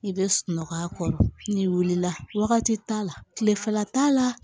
I bɛ sunɔgɔ a kɔrɔ n'i wulila wagati t'a la tilefɛla t'a la